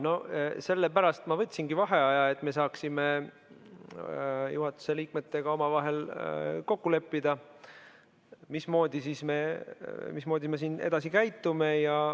No sellepärast ma võtsingi vaheaja, et me saaksime juhatuse liikmetega omavahel kokku leppida, mismoodi me siin edasi käitume.